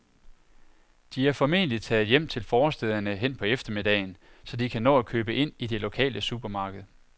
De er formentlig taget hjem til forstæderne hen på eftermiddagen, så de kan nå at købe ind i det lokale supermarked.